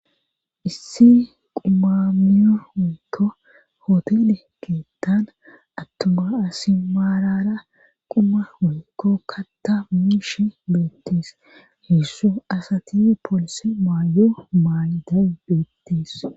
issi qumamiya woykko hotele keettan attuma asi maalara quma woykko katta miishe leettees heessu asati poolise maayo maayidan dettees.